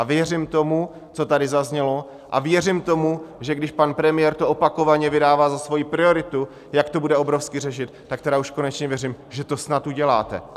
A věřím tomu, co tady zaznělo, a věřím tomu, že když pan premiér to opakovaně vydává za svoji prioritu, jak to bude obrovsky řešit, tak tedy už konečně věřím, že to snad uděláte.